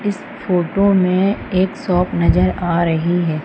इस फोटो में एक शॉप नजर आ रही है।